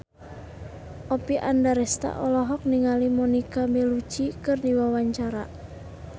Oppie Andaresta olohok ningali Monica Belluci keur diwawancara